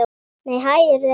Nei, hæ, eruð þið heima!